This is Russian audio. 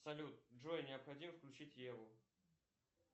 салют джой необходимо включить еву